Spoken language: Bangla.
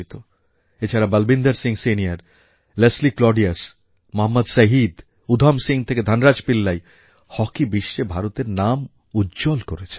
এছাড়া Balwinder Singh senior Leslie Claudius Mohammed Shahid Udham Singh থেকে ধনরাজ পিল্লাই হকি বিশ্বে ভারতের নাম উজ্জ্বল করেছে